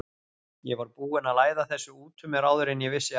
Ég var búinn að læða þessu út úr mér áður en ég vissi af.